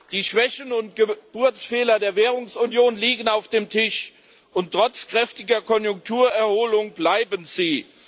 Die Schwächen und Geburtsfehler der Währungsunion liegen auf dem Tisch, und trotz kräftiger Konjunkturerholung bleiben sie.